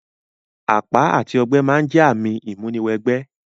Àpá àti ogbẹ́ ma n jẹ ààmì ìmúni wẹ gbẹ́